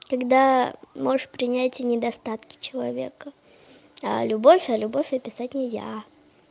когда можешь принять и недостатки человека а любовь а любовь а писать нельзя